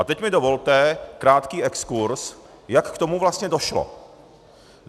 A teď mi dovolte krátký exkurz, jak k tomu vlastně došlo.